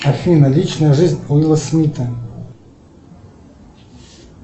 афина личная жизнь уилла смита